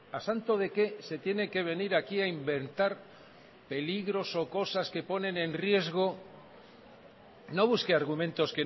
a santo de qué se tiene que venir aquí a inventar peligros o cosas que ponen en riesgo no busque argumentos